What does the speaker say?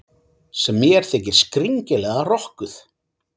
sem mér þykir skringilega rokkuð.